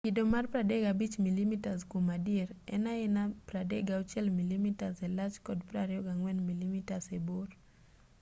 kido mar 35mm kuom adier en aena 36mm e lach gi 24mm e bor